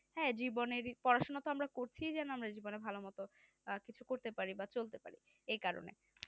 হ্যাঁ জীবনের পড়াশোনা তো আমরা করছি যেন আমরা জীবনে ভালোমতো কিছু করতে পারি বা চলতে পারি এই কারণে